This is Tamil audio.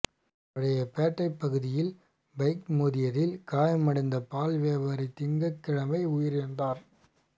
பழைய பேட்டை பகுதியில் பைக் மோதியதில் காயமடைந்த பால் வியாபாரி திங்கள்கிழமை உயிரிழந்தாா்